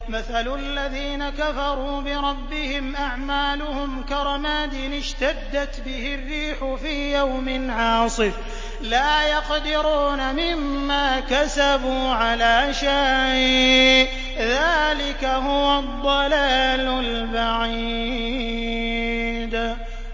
مَّثَلُ الَّذِينَ كَفَرُوا بِرَبِّهِمْ ۖ أَعْمَالُهُمْ كَرَمَادٍ اشْتَدَّتْ بِهِ الرِّيحُ فِي يَوْمٍ عَاصِفٍ ۖ لَّا يَقْدِرُونَ مِمَّا كَسَبُوا عَلَىٰ شَيْءٍ ۚ ذَٰلِكَ هُوَ الضَّلَالُ الْبَعِيدُ